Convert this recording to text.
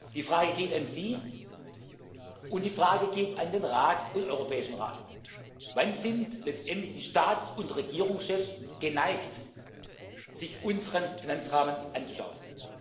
Parlament. Die Frage geht an Sie, und die Frage geht an den Rat und den Europäischen Rat Wann sind letztendlich die Staats und Regierungschefs geneigt, sich unseren Finanzrahmen